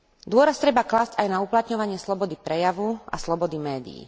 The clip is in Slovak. Dôraz treba klásť aj na uplatňovanie slobody prejavu a slobody médií.